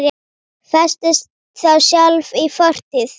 Festist þá sjálf í fortíð.